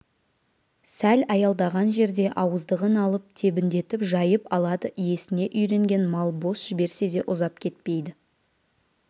сәл аялдаған жерде ауыздығын алып тебіндетіп жайып алады иесіне үйренген мал бос жіберсе де ұзап кетпейді